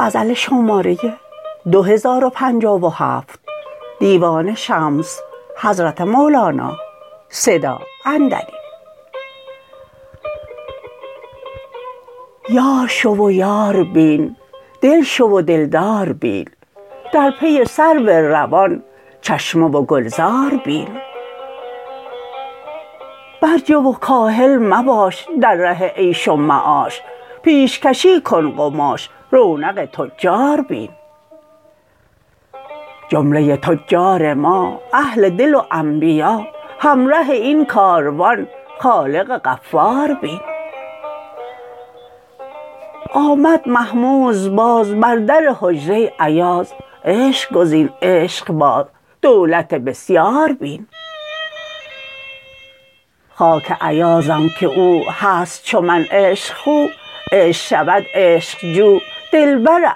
یار شو و یار بین دل شو و دلدار بین در پی سرو روان چشمه و گلزار بین برجه و کاهل مباش در ره عیش و معاش پیشکشی کن قماش رونق تجار بین جمله ی تجار ما اهل دل و انبیا همره این کاروان خالق غفار بین آمد محمود باز بر در حجره ایاز عشق گزین عشق باز دولت بسیار بین خاک ایازم که او هست چو من عشق خو عشق شود عشق جو دلبر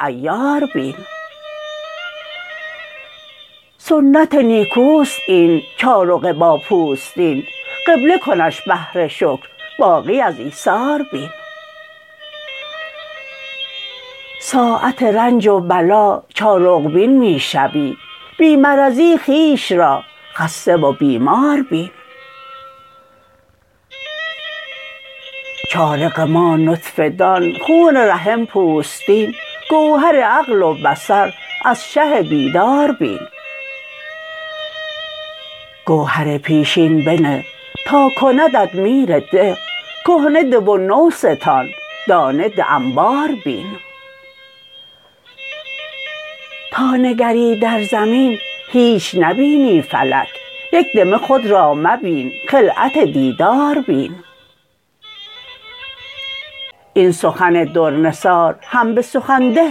عیار بین سنت نیکوست این چارق با پوستین قبله کنش بهر شکر باقی از ایثار بین ساعت رنج و بلا چارق بین می شوی بی مرضی خویش را خسته و بیمار بین چارق ما نطفه دان خون رحم پوستین گوهر عقل و بصر از شه بیدار بین گوهر پیشین بنه تا کندت میر ده کهنه ده و نو ستان دانه ده انبار بین تا نگری در زمین هیچ نبینی فلک یک دمه خود را مبین خلعت دیدار بین این سخن در نثار هم به سخن ده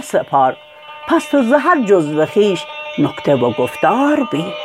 سپار پس تو ز هر جزو خویش نکته و گفتار بین